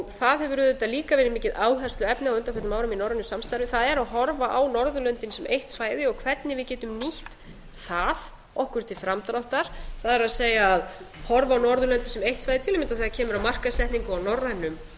það hefur auðvitað líka verið mikið áhersluefni á undanförnum árum í norrænu samstarfi það er að horfa á norðurlöndin sem eitt svæði og hvernig við getum nýtt það okkur til framdráttar það er að horfa á norðurlöndin sem eitt svæði til að kynna þegar kemur að markaðssetningu á norrænum